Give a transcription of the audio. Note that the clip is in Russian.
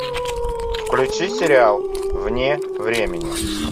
включи сериал вне времени